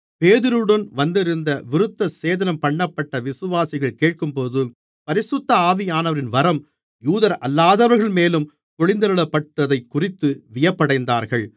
பேதுருவுடன் வந்திருந்த விருத்தசேதனம்பண்ணப்பட்ட விசுவாசிகள் கேட்கும்போது பரிசுத்த ஆவியானவரின் வரம் யூதரல்லாதவர்கள்மேலும் பொழிந்தருளப்பட்டதைக்குறித்து வியப்படைந்தார்கள்